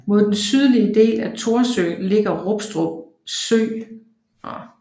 Mod den sydlige del af Thorsø ligger Rustrup Skov